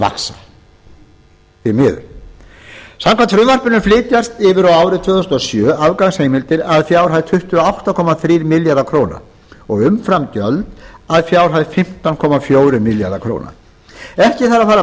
vaxa því miður samkvæmt frumvarpinu flytjast yfir á árið tvö þúsund og sjö afgangsheimildir að fjárhæð tuttugu og átta komma þrír milljarðar króna og umframgjöld að fjárhæð fimmtán komma fjórir milljarðar króna ekki þarf að fara